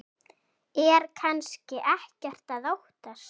Er kannski ekkert að óttast?